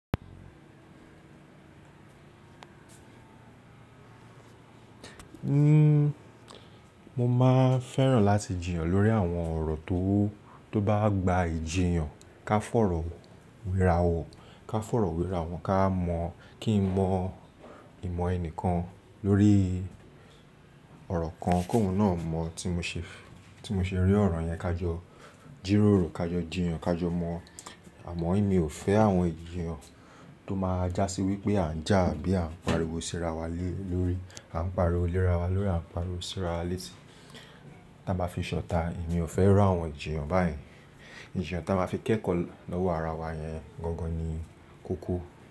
Nn, mo máa fẹ́ràn láti jìyàn lórí àwọn ọ̀rọ̀ tó, tó bá gba ìjiyàn ká fọ̀rọ̀ wéra wò, ká fọ̀rọ̀ wéra wọn ká mọ̀, kí n mọ ìmọ̀ ẹnìkan lórí ọ̀rọ̀ kan kóhún náà mọ̀ tí mo ṣe, tí mo ṣe rí ọ̀rọ̀ yẹn, ká jọ jírórò, ká jọ jìyàn, ká jọ mọ̀. Àmọ́ ìmi ò fẹ́ àwọn ìjiyàn tó máa já sí wípé à ń jà àbí à ń pariwo síra wa lé lórí, à ń pariwo léra wa lórí, à ń pariwo síra létí. Tí a bá fi ṣọ̀ta, èmi ò fẹ́ rí àwọn ijìyàn báyìí. Ìjiyàn tí a máa fi kẹ́kọ̀ọ́ lọ́wọ́ ara wa yẹn gangan ni kókó.